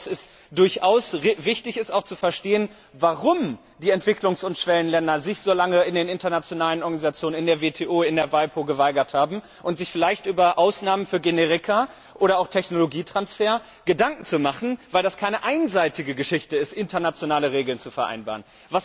Ich glaube, dass es durchaus wichtig ist, zu verstehen, warum sich die Entwicklungs und Schwellenländer so lange in den internationalen Organisationen in der WTO, in der WIPO geweigert haben, und sich vielleicht über Ausnahmen für Generika oder auch Technologietransfer Gedanken zu machen, weil es keine einseitige Geschichte ist, internationale Regeln zu vereinbaren.